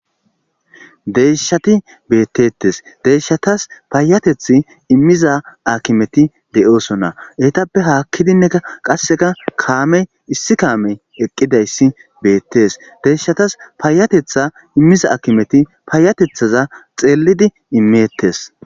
deyshati beettetes deyshatas paayatethi immiza akimeti de7oosona heytappe haakkidinne qasseka kaamey issi kaamey eqqidayssi beettees deyshatas paayatetha immiza akimeti paayatethaza xeelidi imeettes